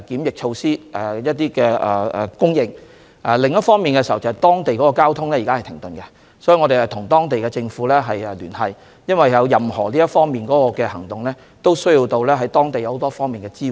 另一方面，由於當地的交通現時停頓，我們必須與當地政府聯繫，因為任何行動都需要得到當地很多方面的支援。